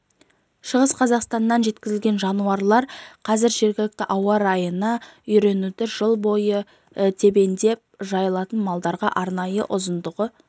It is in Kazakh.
шығыс қазақстаннан жеткізілген жануарлар қазір жергілікті ауа райына үйренуде жыл бойы тебіндеп жайылатын маралдарға арнайы ұзындығы